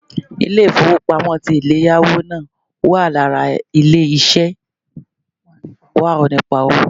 Ilé-ìfowópamọ́ ti eléyáwó náà wà lára ilé ṣé wà nípa owó